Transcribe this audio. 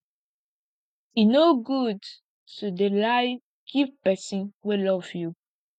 e no good to dey lie give pesin wey love you